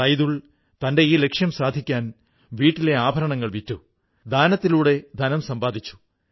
സൈദുൾ തന്റെ ഈ ലക്ഷ്യം സാധിക്കാൻ വീട്ടിലെ ആഭരണങ്ങള് വിറ്റു